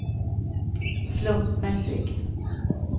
slumpmässig